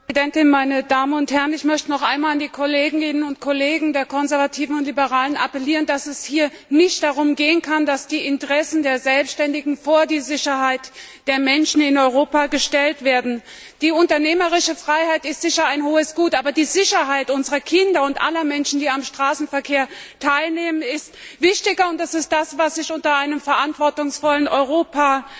Frau Präsidentin! Meine Damen und Herren! Ich möchte noch einmal an die Kolleginnen und Kollegen der Konservativen und Liberalen appellieren, dass es hier nicht darum gehen kann, dass die Interessen der Selbständigen vor die Sicherheit der Menschen in Europa gestellt werden. Die unternehmerische Freiheit ist sicher ein hohes Gut, aber die Sicherheit unserer Kinder und aller Menschen, die am Straßenverkehr teilnehmen, ist wichtiger, und das ist es, was ich unter einem verantwortungsvollen Europa